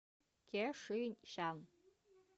кешишян